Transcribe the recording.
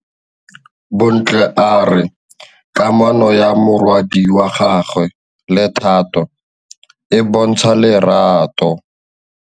Bontle a re kamanô ya morwadi wa gagwe le Thato e bontsha lerato.